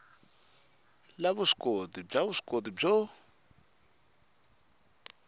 la vuswikoti bya vuswikoti byo